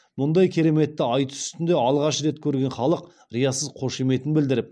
мұндай кереметті айтыс үстінде алғаш рет көрген халық риясыз қошеметін білдіріп